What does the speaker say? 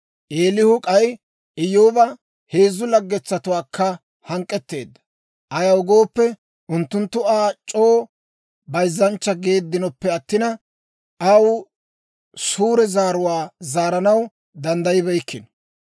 Eelihu k'ay Iyyooba heezzu laggetuwaakka hank'k'etteedda; ayaw gooppe, unttunttu Aa c'oo bayzzanchcha geeddinoppe attina, aw suure zaaruwaa zaaranaw danddayibeykkino.